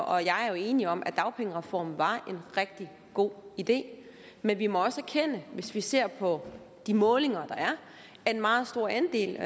og jeg er enige om at dagpengereformen var en rigtig god idé men vi må også erkende hvis vi ser på de målinger der er at en meget stor andel